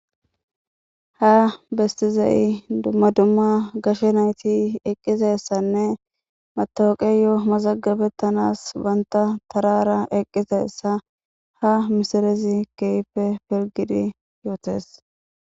Ha besizay dumma dumma gashe nayiti eqizayisane matawuqeyo mazagabetanas banta tarara eqizaysa ha missilezi kehippe pilgidi yotes.